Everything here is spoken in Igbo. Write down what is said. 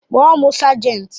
Kpọọ m sejenti.